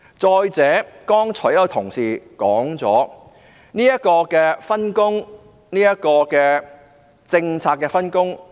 再者，有同事剛才已指出有關政策上的分工問題。